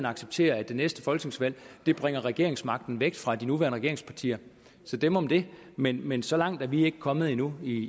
accepterer at det næste folketingsvalg bringer regeringsmagten væk fra de nuværende regeringspartier så dem om det men men så langt er vi ikke kommet endnu